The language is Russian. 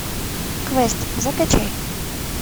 квест закачай